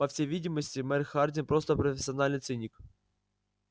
по всей видимости мэр хардин просто профессиональный циник